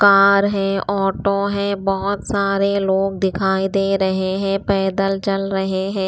Car है auto है बहुत सारे लोग दिखाई दे रहे हैं पैदल चल रहे हैं।